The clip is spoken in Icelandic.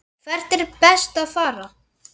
Hvert er best að fara?